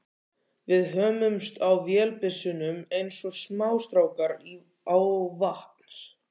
Við hömumst á vélbyssunum eins og smástrákar á vatns